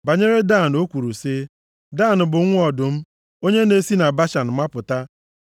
Banyere Dan, o kwuru sị, “Dan bụ nwa ọdụm, onye na-esi na Bashan mapụta.”